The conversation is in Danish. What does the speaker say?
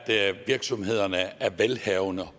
virksomhederne er velhavende